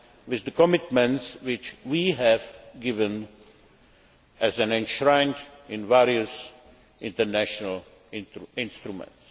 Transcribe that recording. with the commitments which we have given, as enshrined in various international instruments.